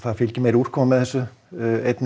fylgir meiri úrkoma með þessu einnig